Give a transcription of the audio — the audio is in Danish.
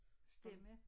Stemme